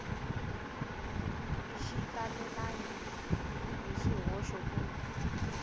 xi talelangi hi swihoxo ku